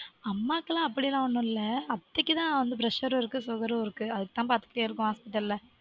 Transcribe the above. அம்மாக்குலாம் அப்படியெல்லாம் ஒன்னும் இல்ல அத்தைக்குதா வந்து pressure -ம் இருக்கு sugar -ம் இருக்கு அதுக்குதா பாத்துக்கிட்டே இருக்கோம் hospital -ல